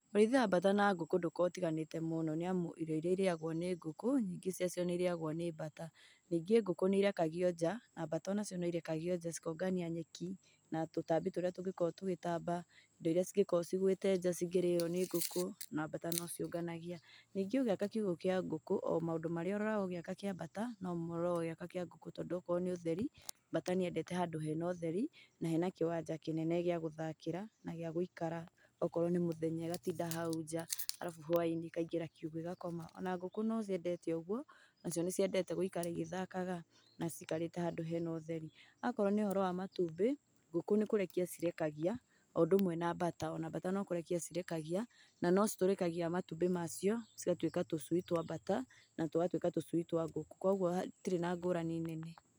Ũrĩithia wa bata na ngũkũ ndokaragwo ũtiganĩte mũno nĩamu irio irĩa irĩagwo nĩ ngũkũ nyingĩ ciaco nĩirĩagwo nĩ bata nĩngĩ ngũkũ nĩerekagia nja na bata ona cio nĩirekagia nja cikongania nyeki na tũtambĩ tũrĩa tũngĩkoragwo tũgĩtamba indo irĩa cingĩkorwo cigwĩte nja cingĩrĩwa nĩ ngũkũ na bata nociũnganagia nĩngĩ ũgĩaka kiũgo kĩa ngũkũ omaũndũ marĩa ũroraga ũgĩaka kĩa bata nomoũroraga ũgĩaka kíĩ ngũkũ tondũ angĩkorwo nĩ ũtheri bata nĩendete handũ hena ũtheri na hena kĩwanja kĩnene gĩa gũthakĩra na gĩagũikara okorwo nĩ mũthenya ĩgatinda hau nja alabu hwainĩ ĩkaingĩra kiugũ ĩgakoma ona ngũkũ nociendete ũgũo nacio nĩciendete gúũkara igĩthakaga nacikarĩte handũ hena ũtheri. Akorwo nĩ ũhoro wa matumbĩ, ngũkũ nĩ kũrekia cirekagia ũndũmwe na bata ona bata nĩkũrekia cirekagia nanĩcitũrĩkagia matumbĩ macio cigatũĩka tũcui twa bata na tũgatũĩka twa ngũkũ kwoguo hatirĩ na ngũrani nene.